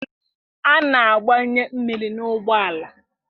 A na-agbanye mmiri n'ụgbọala